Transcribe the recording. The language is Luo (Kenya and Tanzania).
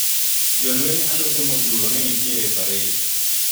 Jolweny alufe modhuro nenitiere e pared.